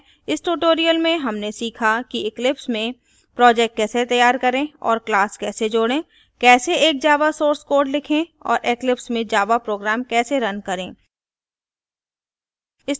इस tutorial में हमने सीखा कि eclipse में project कैसे तैयार करें और class कैसे जोड़ें कैसे एक java source code लिखें और eclipse में java program कैसे in करें